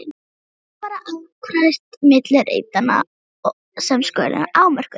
Þannig var akfært milli reitanna sem skurðirnir afmörkuðu.